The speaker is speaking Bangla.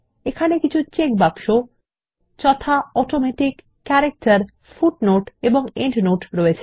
এখানে কিছু চেকবাক্স যথা অটোমেটিক ক্যারেক্টার ফুটনোট এবং এন্ডনোট রয়েছে